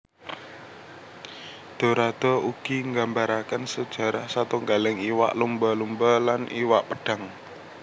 Dorado ugi nggambaraken sujarah satunggaling iwak lumba lumba lan iwak pedhang